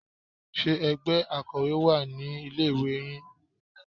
Ṣe ẹgbẹ́ Akọ́wé wà ní ilé ìwé yín?